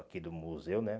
Aqui do museu, né?